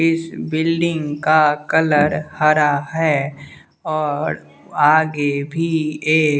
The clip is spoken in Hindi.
इस बिल्डिंग का कलर हरा है और आगे भी एक--